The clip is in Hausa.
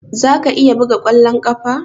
Za ka iya buga kwallon kafa?